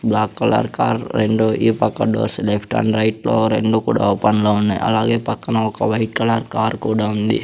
Black colour car రెండూ ఈ పక్క డోర్స్ లెఫ్ట్ అండ్ రైట్ లో రెండు కూడా ఓపెన్ లో ఉన్నాయ్ అలాగే పక్కన ఒక వైట్ కలర్ కార్ కూడా ఉంది.